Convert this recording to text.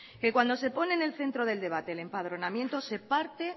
que cuando se pone en el centro del debate el enpadronamiento se parte